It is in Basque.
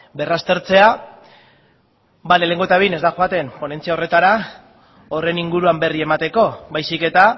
berraztertzea ba lehenengo eta behin ez da joaten ponentzia horretara horren inguruan berri emateko baizik eta